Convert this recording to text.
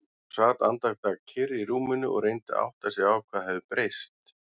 Hún sat andartak kyrr í rúminu og reyndi að átta sig á hvað hafði breyst.